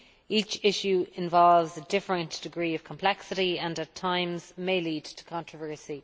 Each issue involves a different degree of complexity and, at times, may lead to controversy.